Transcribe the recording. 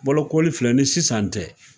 Bolokoli filɛ ni sisan tɛ